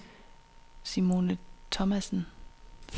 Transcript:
Simone Thomassen